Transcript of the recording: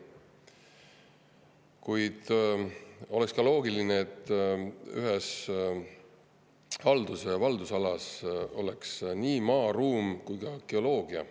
Kuid oleks loogiline, et ühes haldusalas oleks nii maa, ruum kui ka geoloogia.